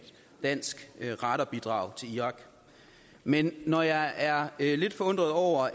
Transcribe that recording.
dansk radarbidrag til irak men når jeg er er lidt forundret over